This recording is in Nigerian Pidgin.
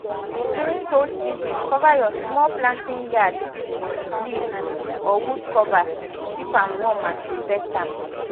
during cold season cover your small planting yard with leaf or wood cover to keep am warm and protect am